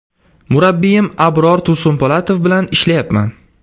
Murabbiyim Abror Tursunpo‘latov bilan ishlayapman.